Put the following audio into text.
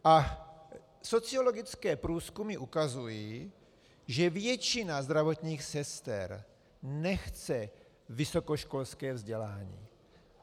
A sociologické průzkumy ukazují, že většina zdravotních sester nechce vysokoškolské vzdělání.